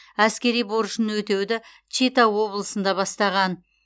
әскери борышын өтеуді чита облысында бастаған